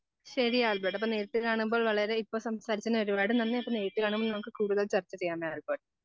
ശരി ആൽബർട്ട് അപ്പൊ നേരിട്ട് കാണുമ്പോൾ വളരെ ഇപ്പോ സംസാരിച്ചതിന് ഒരുപാട് നന്ദി. അപ്പൊ നേരിട്ട് കാണുമ്പോ നമുക്ക് കൂടുതൽ ചർച്ച ചെയ്യാം ആൽബർട്ട്.